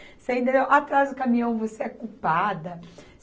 Você entendeu, atrasa o caminhão, você é culpada.